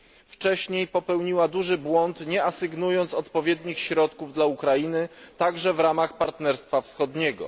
Wcześniej popełniła duży błąd nie asygnując odpowiednich środków dla Ukrainy, także w ramach Partnerstwa Wschodniego.